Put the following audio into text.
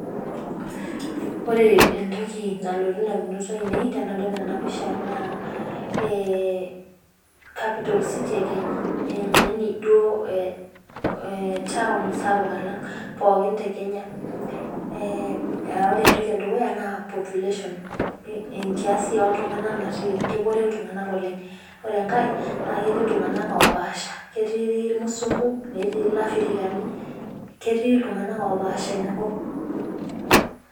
Ore entoki nalotu idamunot ainei tenadol ena pisha naa ee Capital city ee Kenya. yaani duo town sapuk alang' pookin the Kenya. Ore entoki edukuya naa population kiasi oo iltung'ana naati. Kebore iltung'ana oleng' , ore enkae naa keetii iltung'ana oo pasha keetii irmusunku neetii alafirikani keeti iltung'ana oo pasha ina kop.